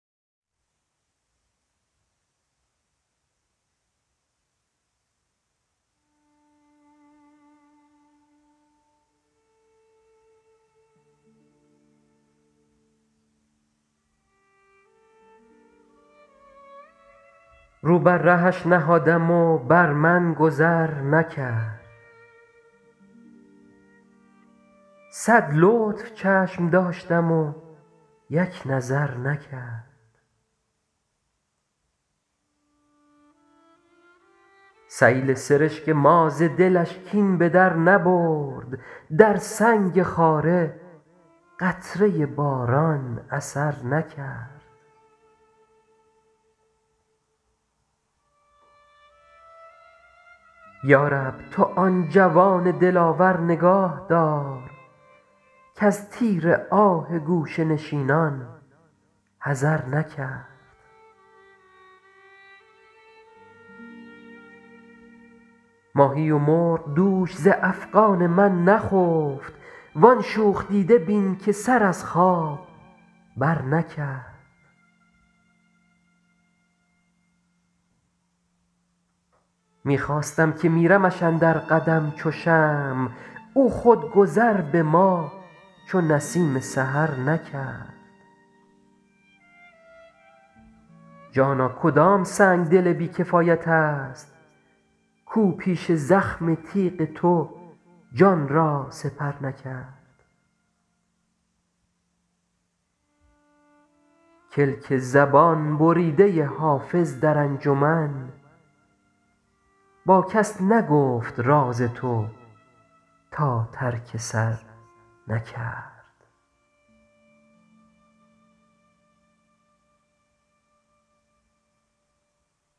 رو بر رهش نهادم و بر من گذر نکرد صد لطف چشم داشتم و یک نظر نکرد سیل سرشک ما ز دلش کین به در نبرد در سنگ خاره قطره باران اثر نکرد یا رب تو آن جوان دلاور نگاه دار کز تیر آه گوشه نشینان حذر نکرد ماهی و مرغ دوش ز افغان من نخفت وان شوخ دیده بین که سر از خواب برنکرد می خواستم که میرمش اندر قدم چو شمع او خود گذر به ما چو نسیم سحر نکرد جانا کدام سنگدل بی کفایت است کاو پیش زخم تیغ تو جان را سپر نکرد کلک زبان بریده حافظ در انجمن با کس نگفت راز تو تا ترک سر نکرد